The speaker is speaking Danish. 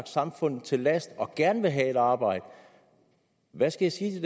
samfundet til last og gerne vil have et arbejde hvad skal jeg